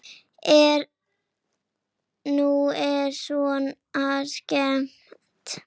Nú er Svenna skemmt.